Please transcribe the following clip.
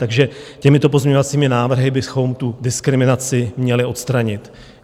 Takže těmito pozměňovacími návrhy bychom tu diskriminaci měli odstranit.